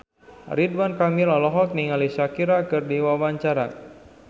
Ridwan Kamil olohok ningali Shakira keur diwawancara